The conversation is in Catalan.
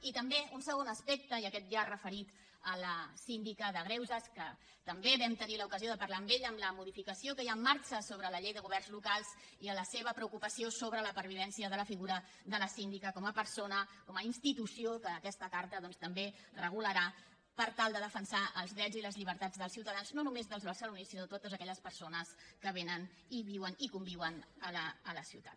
i també un segon aspecte i aquest ja referit a la síndica de greuges que també vam tenir l’ocasió de parlar amb ella el de la modificació que hi ha en marxa sobre la llei de governs locals i de la seva preocupació sobre la pervivència de la figura de la síndica com a persona com a institució que aquesta carta també regularà per tal de defensar els drets i les llibertats dels ciutadans no només dels barcelonins sinó de totes aquelles persones que vénen i viuen i conviuen a la ciutat